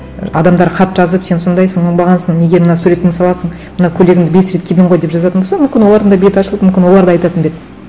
адамдар хат жазып сен сондайсың оңбағансың неге мына суретіңді саласың мына көйлегіңді бес рет кидің ғой деп жазатын болса мүмкін олардың да беті ашылып мүмкін олар да айтатын ба еді